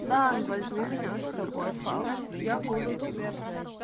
дай возьми меня с собой фауст я буду тебя